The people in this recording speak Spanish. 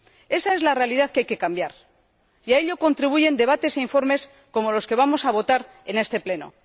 Esa es la realidad que hay que cambiar, y a ello contribuyen debates e informes como los que vamos a votar en este Pleno.